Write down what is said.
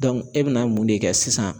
e bɛna mun de kɛ sisan